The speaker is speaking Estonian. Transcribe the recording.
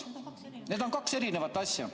Need on kaks erinevat asja.